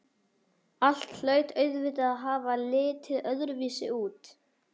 Allt hlaut auðvitað að hafa litið öðruvísi út.